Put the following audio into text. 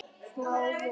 Smá von